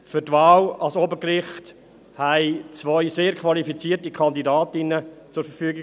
Für die Wahl ans Obergericht standen zwei sehr qualifizierte Kandidatinnen zur Verfügung.